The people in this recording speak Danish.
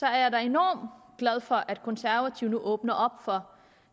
jeg da enormt glad for at konservative nu åbner op for